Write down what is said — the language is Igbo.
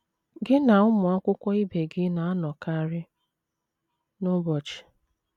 GỊ NA ụmụ akwụkwọ ibe gị na - anọkarị n’ụbọchị.